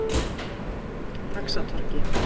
Faxatorgi